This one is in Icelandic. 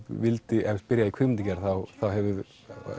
byrjaði í kvikmyndagerð þá hefur